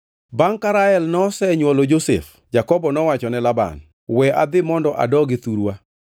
Bangʼ ka Rael nosenywolo Josef, Jakobo nowacho ne Laban, “We adhi mondo adogi thurwa.